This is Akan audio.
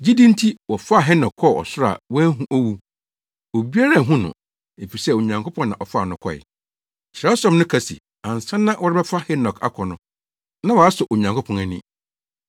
Gyidi nti, wɔfaa Henok kɔɔ ɔsoro a wanhu owu. Obiara anhu no, efisɛ Onyankopɔn na ɔfaa no kɔe. Kyerɛwsɛm no ka se ansa na wɔrebɛfa Henok akɔ no, na wasɔ Onyankopɔn ani.